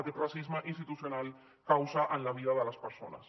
aquest racisme institucional causa en la vida de les persones